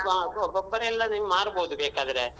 ಹಾ ಗೋ ಗೊಬ್ಬರ ಎಲ್ಲ ನೀವ್ ಮಾರ್ಬೋದು ಬೇಕಾದ್ರೆ.